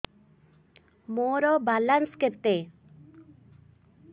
ମୋର ବାଲାନ୍ସ କେତେ